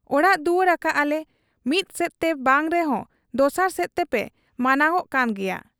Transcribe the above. ᱚᱲᱟᱜ ᱫᱩᱣᱟᱹᱨ ᱟᱠᱟᱜ ᱟᱞᱮ, ᱢᱤᱫᱥᱮᱫᱛᱮ ᱵᱟᱝ ᱨᱮᱦᱚᱸ ᱫᱚᱥᱟᱨ ᱥᱮᱫ ᱛᱮᱯᱮ ᱢᱟᱱᱟᱣᱜ ᱠᱟᱱ ᱜᱮᱭᱟ ᱾